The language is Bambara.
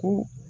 Ko